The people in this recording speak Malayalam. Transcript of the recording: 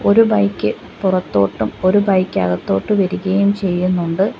ഒരു ബൈക്ക് പുറത്തോട്ടും ഒരു ബൈക്ക് അകത്തോട്ട് വരികയും ചെയ്യുന്നുണ്ട്.